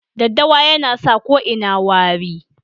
Daddawa yana sa ko ina wari.